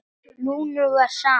Lúnu var sama.